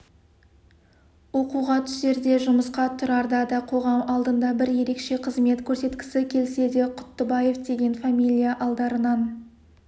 оқуға түсерде де жұмысқа тұрарда да қоғам алдында бір ерекше қызмет көрсеткісі келсе де құттыбаев деген фамилия алдарынан